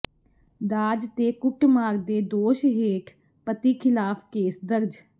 ਦਾਜ ਤੇ ਕੁੱਟਮਾਰ ਦੇ ਦੋਸ਼ ਹੇਠ ਪਤੀ ਖ਼ਿਲਾਫ਼ ਕੇਸ ਦਰਜ